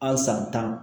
An san tan